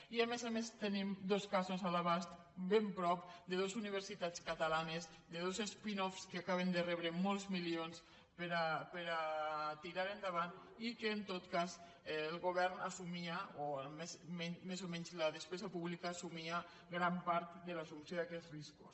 i a més a més en te·nim dos casos a l’abast ben a prop de dos universitats catalanes de dos spin offsmilions per a tirar endavant i que en tot cas el govern assumia o almenys més o menys la despesa pública assumia gran part de l’assumpció d’aquests riscos